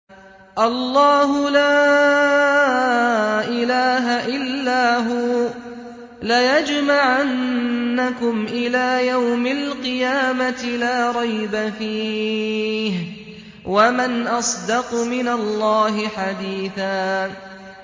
اللَّهُ لَا إِلَٰهَ إِلَّا هُوَ ۚ لَيَجْمَعَنَّكُمْ إِلَىٰ يَوْمِ الْقِيَامَةِ لَا رَيْبَ فِيهِ ۗ وَمَنْ أَصْدَقُ مِنَ اللَّهِ حَدِيثًا